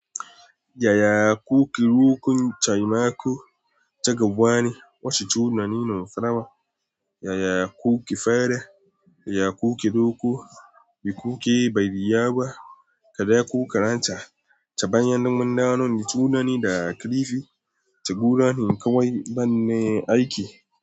Yaya kuke rokon taimako? Ta gaba ne wasu tunanin na farawa. Yaya kuke feda? Yaya kuke roko? Me kuke bayarwa? Kada ku karanta ta bayan damuna. Tunanin da kalifi ta gudanar kawai bane aiki.